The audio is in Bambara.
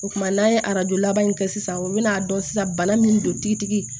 O kumana n'an ye arajo laban in kɛ sisan o bɛn'a dɔn sisan bana min don tigitigi